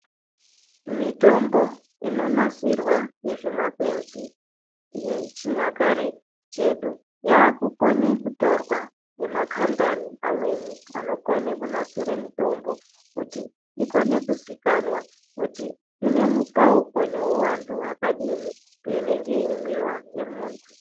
Mitombo inonasirwa nezvimakwenzi zvechinyakare chedu, yakukone kutorwa ngemakhampani, amweni anokone kunasire mitombo kuti ikone kuzikanwa kuti inemupawuko newuhwandu hwakadini payinenge imwiwa nemunhu.